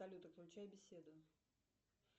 салют отключай беседу